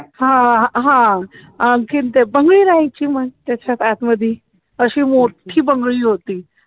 हा हा आणखीन तिथे मी राहायची मग त्याच्यात आतमधी अशी मोठी बंगळी होती